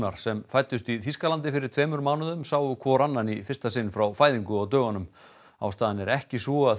sem fæddust í Þýskalandi fyrir tveimur mánuðum sáu hvor annan í fyrsta sinn frá fæðingu á dögunum ástæðan er ekki sú að þeim